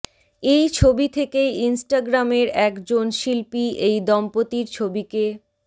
এই ছবি থেকেই ইনস্টাগ্রামের এক জন শিল্পী এই দম্পতির ছবিকে